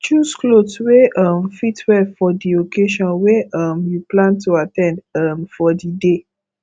choose cloth wey um fit well for di occasion wey um you plan to at ten d um for di day